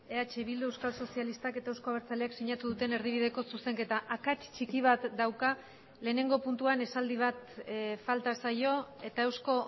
eh bildu euskal sozialistak eta euzko abertzaleak sinatu duten erdibideko zuzenketa akats txiki bat dauka lehenengo puntuan esaldi bat falta zaio eta eusko